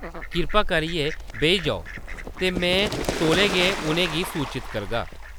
कृपा करियै बेही जाओ, ते में तौले गै उʼनें गी सूचत करगा।